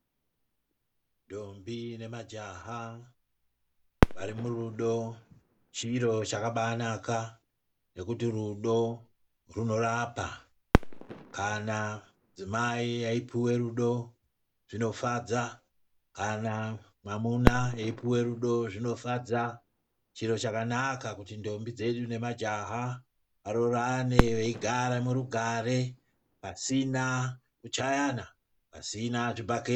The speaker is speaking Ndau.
Ndombi nemajaha vari murudo, chiro chakabaanaka nekuti rudo runorapa. Kana mudzimai eipuwa rudo zvinofadza. Kana mwamuna eipuwa rudo zvinofadza. Chiro chakanaka kuti ndombi dzedu nemajaha varoorane veigare murugare pasina kuchayana, pasina zvibhakera.